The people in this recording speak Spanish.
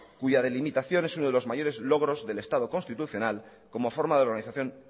cuya delimitación es uno de los mayores logros del estado constitucional como forma de organización